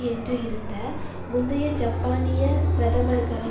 என்று இருந்த முந்தைய ஜப்பானிய பிரதமர்களை